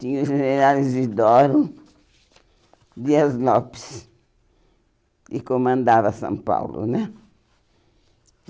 Tinha o general Isidoro Dias Lopes, que comandava São Paulo, né?